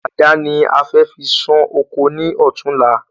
Adà ni a fẹ́ fi san ọkọ ní ọ̀tunla